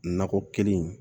Nakɔ kelen